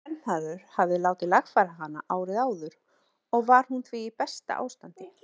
Séra Vernharður hafði látið lagfæra hana árið áður og var hún því í besta ástandi.